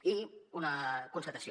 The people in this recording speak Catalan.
i una constatació